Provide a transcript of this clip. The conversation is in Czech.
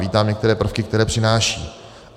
Vítám některé prvky, které přináší.